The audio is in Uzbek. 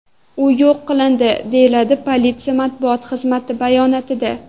U yo‘q qilindi”, deyiladi politsiya matbuot xizmati bayonotida.